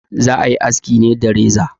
Za a yi aski ne da reza.